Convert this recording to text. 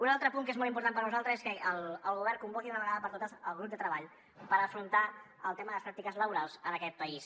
un altre punt que és molt important per a nosaltres és que el govern convoqui d’una vegada per totes el grup de treball per afrontar el tema de les pràctiques laborals en aquest país